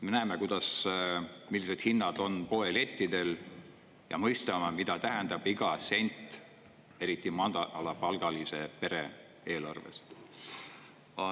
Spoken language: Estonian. Me näeme, millised hinnad on poelettidel ja mõistame, mida tähendab iga sent, eriti madalapalgalise pere eelarves.